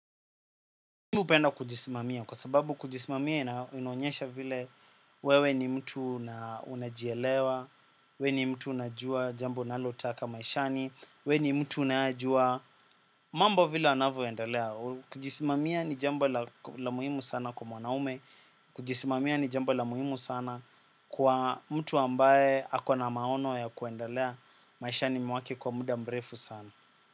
Mimi hupenda kujisimamia kwa sababu kujisimamia inaonyesha vile wewe ni mtu na unajielewa, wewe ni mtu unajua jambo unalotaka maishani, wewe ni mtu unajua, mambo vile yanavyo endalea, kujisimamia ni jambo la muhimu sana kwa mwanaume, kujisimamia ni jambo la muhimu sana kwa mtu ambaye akona maono ya kuendelea maishani mwake kwa muda mrefu sana.